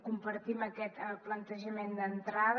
compartim aquest plantejament d’entrada